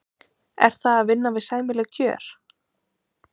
Er það að vinna við sæmileg kjör?